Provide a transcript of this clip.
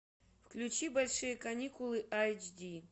включи большие каникулы айч ди